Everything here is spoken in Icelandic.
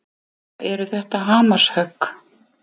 Eða eru þetta hamarshögg?